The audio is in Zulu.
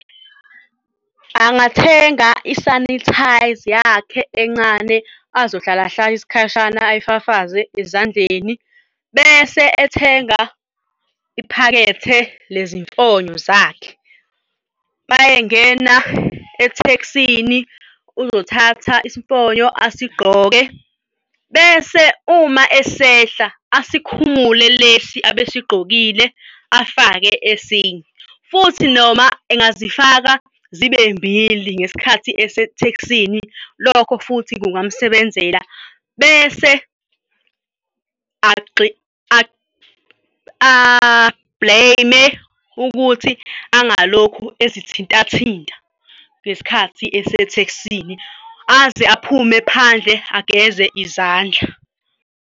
Angathenga isanithayza yakhe encane azohlala hlala isikhashana ay'fafaze ezandleni bese ethenga iphakethe lezimfonyo zakhe. Uma engena ethekisini uzothatha isifonyo asigqoke bese uma esehla asikhumule lesi abesigqokile afake esinye futhi noma engazifaka zibe mbili ngesikhathi esetekisini, lokho futhi kungamsebenzela bese a-blame-e ukuthi angalokhu ezithinta thinta ngesikhathi esetekisini aze aphume phandle, ageze izandla.